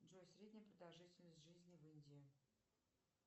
джой средняя продолжительность жизни в индии